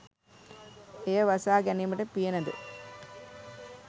එය වසා ගැනීමට පියනද,